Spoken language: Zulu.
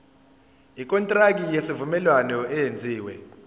ikontraki yesivumelwano eyenziwe